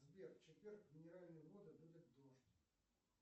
сбер в четверг в минеральных водах будет дождь